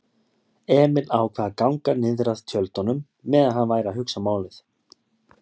Emil ákvað að ganga niðrað tjöldunum meðan hann væri að hugsa málið.